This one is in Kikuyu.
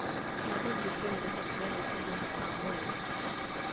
Cia gũthiĩ kũrĩ rũhonge rwa ũgima wa mwĩrĩ